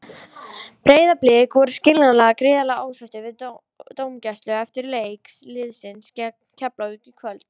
Breiðablik voru skiljanlega gríðarlega ósáttir við dómgæsluna eftir leik liðsins gegn Keflavík í kvöld.